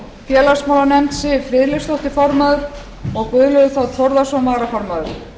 félagsmálanefnd siv friðleifsdóttir formaður og guðlaugur þ þórðarson varaformaður